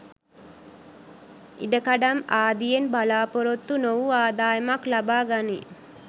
ඉඩකඩම් ආදියෙන් බලා‍පොරොත්තු නොවූ ආදායමක් ලබාගනී